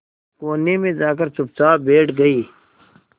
कोने में जाकर चुपचाप बैठ गई